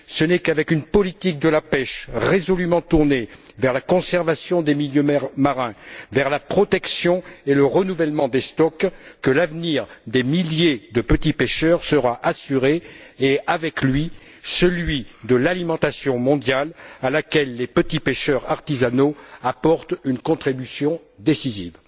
Ce n'est qu'avec une politique de la pêche résolument tournée vers la conservation des milieux marins, vers la protection et le renouvellement des stocks, que l'avenir des milliers de petits pêcheurs sera assuré et, avec lui, celui de l'alimentation mondiale à laquelle les petits pêcheurs artisanaux apportent une contribution décisive.